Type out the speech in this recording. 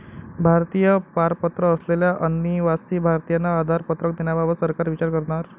भारतीय पारपत्र असलेल्या अनिवासी भारतीयांना आधार पत्रक देण्याबाबत सरकार विचार करणार